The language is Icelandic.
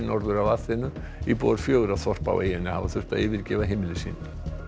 norður af Aþenu íbúar fjögurra þorpa á eyjunni hafa þurft að yfirgefa heimili sín